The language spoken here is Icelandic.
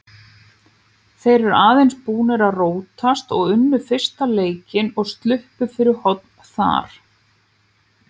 Þeir eru aðeins búnir að róast og unnu fyrsta leikinn og sluppu fyrir horn þar.